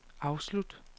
afslut